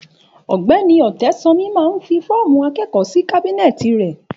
Ògbẹni Ọ̀tẹsanmi mà ń fi fọ̀mú akẹkọ si kàbìnẹtì rẹ